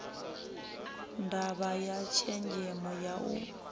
ndavha ya tshenzemo ya u